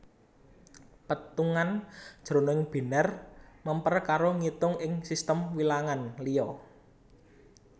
Pétungan jroning binèr mèmper karo ngitung ing sistem wilangan liya